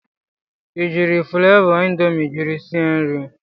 I jiiri flavọ indomi jiri sie nri?